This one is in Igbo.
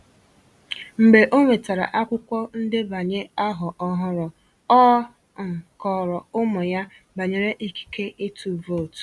Mgbe o nwetàrà akwụkwọ ndebanye ahọ ọhụrụ, ọ um kọrọ ụmụ ya banyere ikike ịtụ vootu.